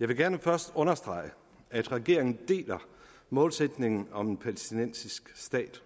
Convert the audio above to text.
jeg vil gerne først understrege at regeringen deler målsætningen om en palæstinensisk stat